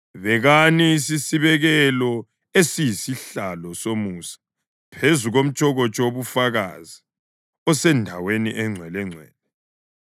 Bekani isisibekelo esiyisihlalo somusa phezu komtshokotsho wobufakazi osendaweni eNgcwelengcwele.